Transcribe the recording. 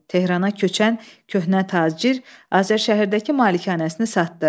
Tehrana köçən köhnə tacir Azərşəhərdəki malikanəsini satdı.